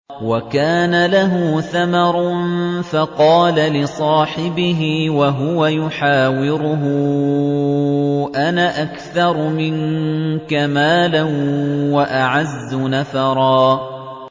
وَكَانَ لَهُ ثَمَرٌ فَقَالَ لِصَاحِبِهِ وَهُوَ يُحَاوِرُهُ أَنَا أَكْثَرُ مِنكَ مَالًا وَأَعَزُّ نَفَرًا